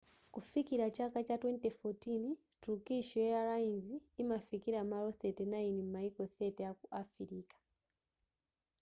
kufikira chaka cha 2014 turkish airlines imafikira malo 39 m'maiko 30 aku afirika